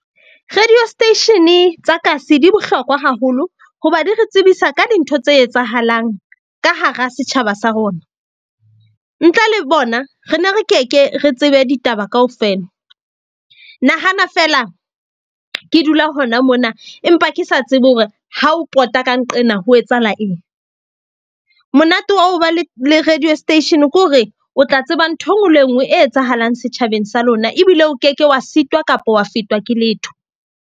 Radio station tsa kasi di bohlokwa haholo hoba di re tsebisa ka dintho tse etsahalang ka hara setjhaba sa rona. Ntle le bona re ne re ke ke re tsebe ditaba kaofela. Nahana fela ke dula hona mona, empa ke sa tsebe hore ha o pota ka nqena ho etsahala eng. Monate wa ho ba le radio station ke hore o tla tseba nthwe e nngwe le e nngwe e etsahalang setjhabeng sa lona, ebile o ke ke wa sitwa kapa wa fetwa ke letho.